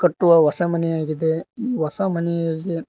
ಟ್ಟುವ ಹೊಸ ಮನೆಯಾಗಿದೆ ಈ ಹೊಸ ಮನೆಯಗೆ--